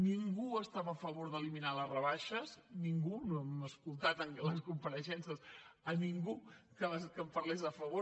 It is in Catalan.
ningú estava a favor d’eliminar les rebaixes ningú no hem sentit a les compareixences a ningú que en parlés a favor